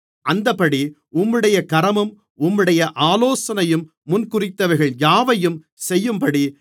அந்தப்படி உம்முடைய கரமும் உம்முடைய ஆலோசனையும் முன்குறித்தவைகள் யாவையும் செய்யும்படி